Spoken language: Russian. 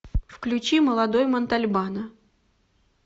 включи молодой монтальбано